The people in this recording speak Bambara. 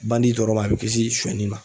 Bandi dɔrɔn ma a bɛ kisi sonyali ma